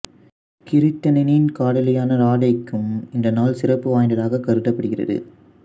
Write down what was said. கிருட்டிணனின் காதலியான ராதைக்கும் இந்த நாள் சிறப்பு வாய்ந்ததாகக் கருதப்படுகிறது